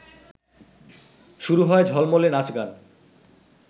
শুরু হয় ঝলমলে নাচ গান